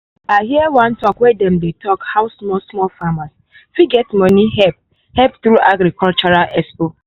i hear one talk wey dem dey talk how small-small farmers fit get money help help through agricultural expo.